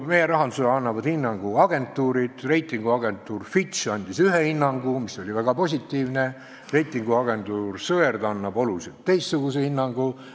Meie rahandusele annavad hinnangu agentuurid, reitinguagentuur Fitch andis ühe hinnangu, mis oli väga positiivne, reitinguagentuur Sõerd annab hoopis teistsuguse hinnangu.